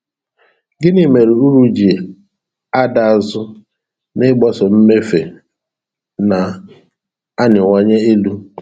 Gịnị mere uru ji ada azụ n'ịgbaso mmefu na-arịwanye elu?